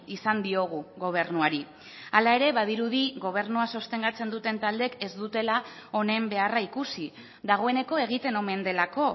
izan diogu gobernuari hala ere badirudi gobernua sostengatzen duten taldeek ez dutela honen beharra ikusi dagoeneko egiten omen delako